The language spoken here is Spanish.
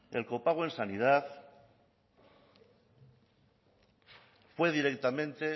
el copago en sanidad fue directamente